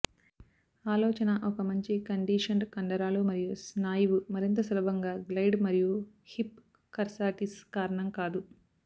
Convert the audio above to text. ఆలోచన ఒక మంచి కండిషన్డ్ కండరాలు మరియు స్నాయువు మరింత సులభంగా గ్లైడ్ మరియు హిప్ కర్సాటిస్ కారణం కాదు